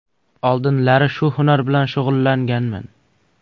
Oldinlari shu hunar bilan shug‘ullanganman.